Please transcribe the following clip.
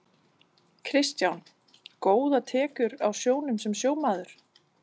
Kristján: Góðar tekjur á sjónum sem sjómaður?